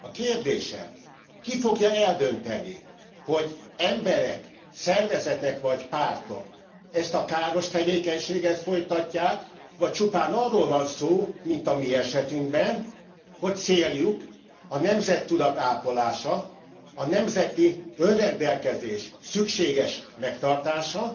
A kérdésem Ki fogja eldönteni, hogy emberek, szervezetek, vagy pártok ezt a káros tevékenységet folytatják, vagy csupán arról van szó, mint a mi esetünkben, hogy céljuk a nemzettudat ápolása, a nemzeti önrendelkezés szükséges megtartása,